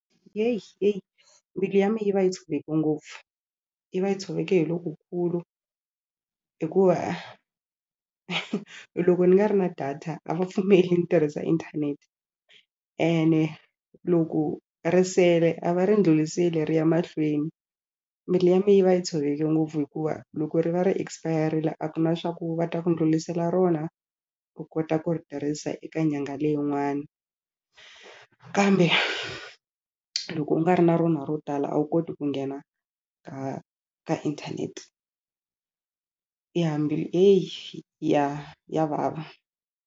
Hey hey mbilu ya me yi va yi tshoveke ngopfu yi va yi tshoveke hi lokukulu hikuva loko ni nga ri na data a va pfumeli ni tirhisa inthanete ene loko ri sele a va ri ndlhuliseli ri ya mahlweni mbilu ya me yi va yi tshoveleke ngopfu hikuva loko ri va ri expir-ile a ku na swa ku va ta ku ndlhulisela rona u kota ku ri tirhisa eka nyangha leyin'wana kambe loko u nga ri na rona ro tala a wu koti ku nghena ka ka inthaneti hey ya ya vava.